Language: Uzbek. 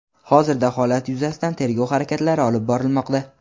Hozirda holat yuzasidan tergov harakatlari olib borilmoqda.